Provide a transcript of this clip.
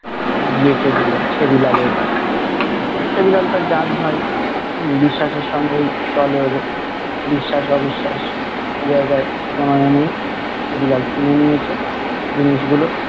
বেচে দিলো ছ্য়াদি লালের কাছে। ছ্য়াদিলাল তার জাতভাই উম বিশ্বাসের সঙ্গেই চলে ওদের, বিশ্বাস -অবিশ্বাস জায়গায় কোনো নেই। ছ্য়াদিলাল কিনে নিয়েছে জিনিসগুলো